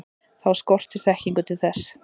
þá skortir þekkingu til þess